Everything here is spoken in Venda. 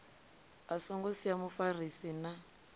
a songo sia mufarisi na